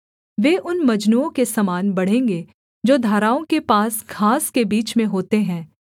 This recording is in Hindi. वे उन मजनुओं के समान बढ़ेंगे जो धाराओं के पास घास के बीच में होते हैं